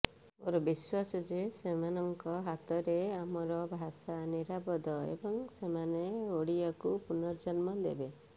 ମୋର ବିଶ୍ୱାସ ଯେ ସେମାନଙ୍କ ହାତରେ ଆମର ଭାଷା ନିରାପଦ ଏବଂ ସେମାନେ ଓଡ଼ିଆକୁ ପୁନର୍ଜନ୍ମ ଦେବେ